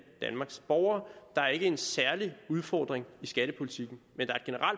danmarks borgere der er ikke en særlig udfordring i skattepolitikken men